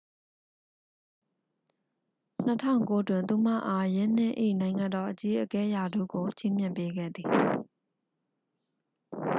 2009 တွင် သူမအား ယင်းနှစ်၏ နိုင်ငံတော် အကြီးအကဲ ရာထူးကို ချီးမြှင့်ပေးခဲ့သည်